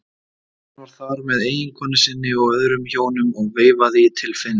Hann var þar með eiginkonu sinni og öðrum hjónum og veifaði til Finns.